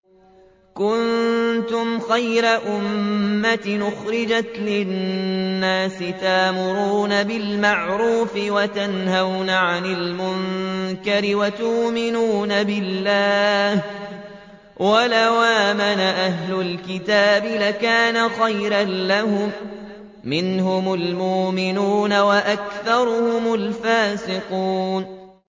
كُنتُمْ خَيْرَ أُمَّةٍ أُخْرِجَتْ لِلنَّاسِ تَأْمُرُونَ بِالْمَعْرُوفِ وَتَنْهَوْنَ عَنِ الْمُنكَرِ وَتُؤْمِنُونَ بِاللَّهِ ۗ وَلَوْ آمَنَ أَهْلُ الْكِتَابِ لَكَانَ خَيْرًا لَّهُم ۚ مِّنْهُمُ الْمُؤْمِنُونَ وَأَكْثَرُهُمُ الْفَاسِقُونَ